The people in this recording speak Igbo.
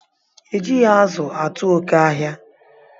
E jighi azu atu oke ahia